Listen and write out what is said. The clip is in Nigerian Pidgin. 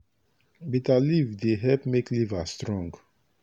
bitter leaf dey help make liver strong.